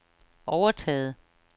overtaget